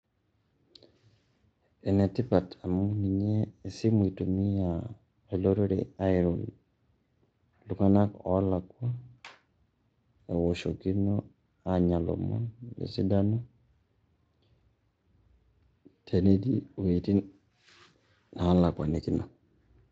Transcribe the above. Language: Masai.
Ene tipat amu ninye esimu itumia olorere airie iltung'anak olakua ewoshokino aanya lomon le sidano tenetii wueitin nalakuanikino.